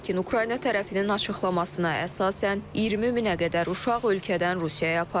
Lakin Ukrayna tərəfinin açıqlamasına əsasən, 20 minə qədər uşaq ölkədən Rusiyaya aparılıb.